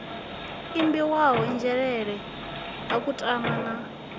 ambiwaho nzhelele ha kutama na